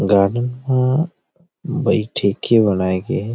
रानी ह मुंबई ठेके बनाई गए हे।